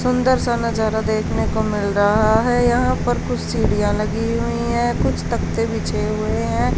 सुंदर सा नजारा देखने को मिल रहा हैं यहाँ पर कुछ सीढ़ियां लगी हुई हैं कुछ तख़्ते बिछे हुए हैं।